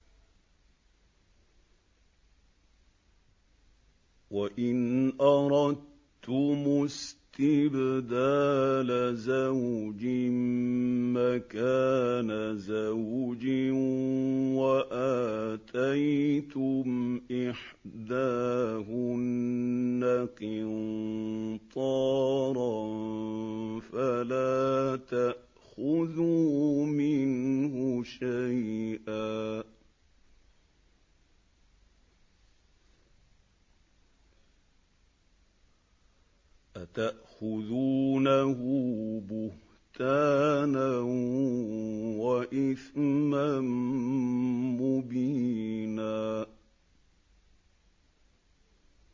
وَإِنْ أَرَدتُّمُ اسْتِبْدَالَ زَوْجٍ مَّكَانَ زَوْجٍ وَآتَيْتُمْ إِحْدَاهُنَّ قِنطَارًا فَلَا تَأْخُذُوا مِنْهُ شَيْئًا ۚ أَتَأْخُذُونَهُ بُهْتَانًا وَإِثْمًا مُّبِينًا